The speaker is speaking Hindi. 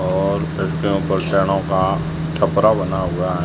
और छत के ऊपर का छपरा बना हुआ है।